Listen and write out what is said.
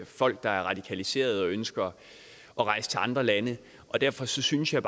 folk der er radikaliseret og ønsker at rejse til andre lande og derfor synes jeg